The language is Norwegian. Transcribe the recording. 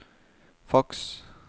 faks